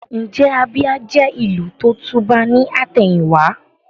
Ǹjẹ́ Abia jẹ́ ìlù tó tùbà ní àtẹ̀yìn wá?